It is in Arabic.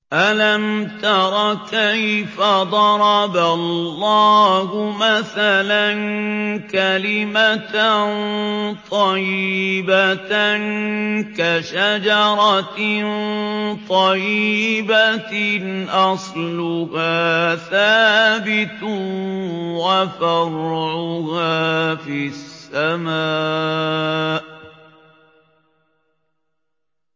أَلَمْ تَرَ كَيْفَ ضَرَبَ اللَّهُ مَثَلًا كَلِمَةً طَيِّبَةً كَشَجَرَةٍ طَيِّبَةٍ أَصْلُهَا ثَابِتٌ وَفَرْعُهَا فِي السَّمَاءِ